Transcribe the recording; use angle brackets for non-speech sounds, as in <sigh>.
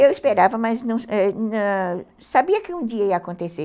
Eu esperava, mas <unintelligible> sabia que um dia ia acontecer.